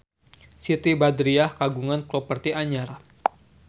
Siti Badriah kagungan properti anyar